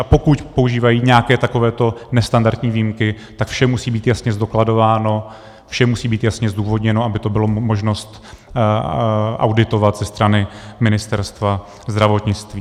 A pokud používají nějaké takovéto nestandardní výjimky, tak vše musí být jasně zdokladováno, všem musí být jasně zdůvodněno, aby to bylo možnost auditovat ze strany Ministerstva zdravotnictví.